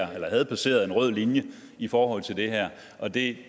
havde passeret en rød linje i forhold til det her og det